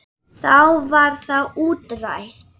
Þá var það útrætt.